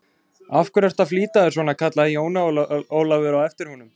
Af hverju ertu að flýta þér svona, kallaði Jón Ólafur á eftir honum.